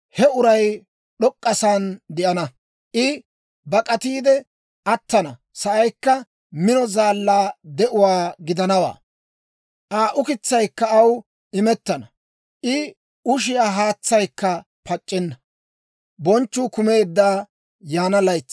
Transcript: he uray d'ok'k'asaan de'ana. I bak'atiide attana sa'aykka mino zaallaa de'uwaa gidanawaa; Aa ukitsaykka aw imettana; I ushiyaa haatsaykka pac'c'enna.